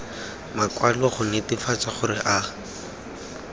makwalo go netefatsa gore a